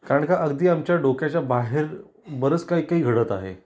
कारण का अगदी आमच्या डोक्याच्या बाहेर बरंच काही काही घडत आहे.